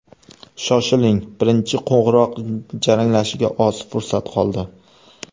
Shoshiling, birinchi qo‘ng‘iroq jaranglashiga oz fursat qoldi!